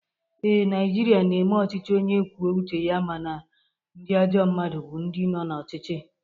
ee, Naijiria na-eme ọchịchị onye kwuo uche ya mana ndị ajọ mmadụ bu ndị no na ọchịchị